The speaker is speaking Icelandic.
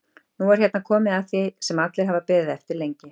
Nú er hérna komið að því sem allir hafa beðið eftir lengi.